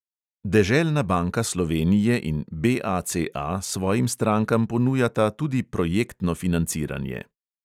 Deželna banka slovenije in BACA svojim strankam ponujata tudi projektno financiranje.